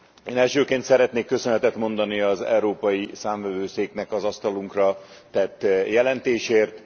Én elsőként szeretnék köszönetet mondani az Európa Számvevőszéknek az asztalunkra tett jelentésért.